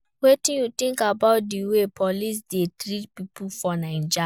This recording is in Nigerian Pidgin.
wetin you think about di way police dey treat people for Naija?